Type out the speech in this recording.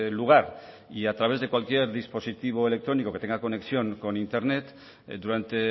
lugar y a través de cualquier dispositivo electrónico que tenga conexión con internet durante